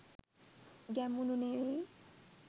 ගැමුණු නෙවෙයි